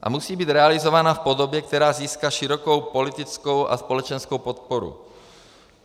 A musí být realizována v podobě, která získá širokou politickou a společenskou podporu.